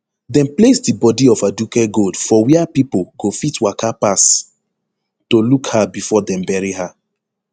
dem place di bodi of aduke gold for wia pipo go fit waka pass to look her bifor dem bury her